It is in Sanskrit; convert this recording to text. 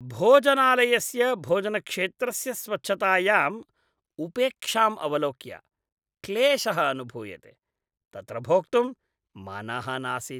भोजनालयस्य भोजनक्षेत्रस्य स्वच्छतायाम् उपेक्षाम् अवलोक्य क्लेशः अनुभूयते, तत्र भोक्तुं मनः नासीत्।